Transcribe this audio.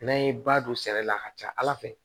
N'an ye ba don sɛnɛ la a ka ca ala fɛ